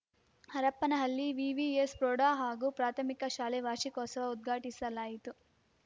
Harapanahalli VVS ಪ್ರೌಢ ಹಾಗೂ ಪ್ರಾಥಮಿಕ ಶಾಲೆ ವಾರ್ಷಿಕೋತ್ಸವ ಉದ್ಘಾಟಿಸಲಾಯಿತು